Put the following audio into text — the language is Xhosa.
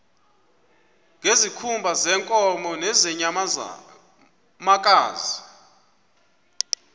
ngezikhumba zeenkomo nezeenyamakazi